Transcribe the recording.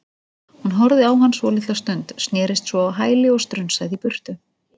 Hún horfði á hann svolitla stund, snerist svo á hæli og strunsaði í burtu.